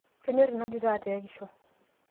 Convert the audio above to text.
kenyor ina tito eteekisho